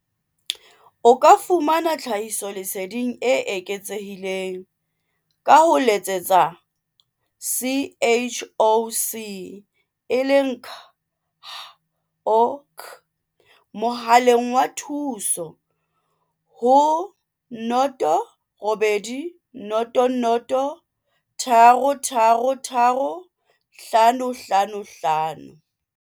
O ka fumana tlhahiso leseding e eketsehileng ka ho letsetsa CHOC mohaleng wa thuso ho 0800 333 555.